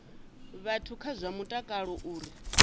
vhathu kha zwa mutakalo uri